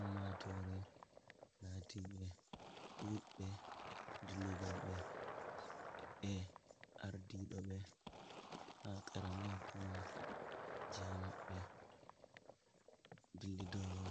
Ummatore latiɓe ɗuɓbe dillidobe e ardiɗo be ha qara ma hukuma jiha maɓe dillidowo